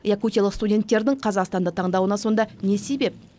якутиялық студенттердің қазақстанды таңдауына сонда не себеп